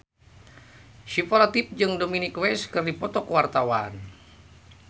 Syifa Latief jeung Dominic West keur dipoto ku wartawan